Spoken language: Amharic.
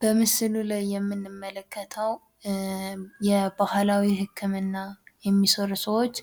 በምሥሉ ላይ የምንመለከተው የባህላዊ ሕክምና የሚሠሩ ሰዎች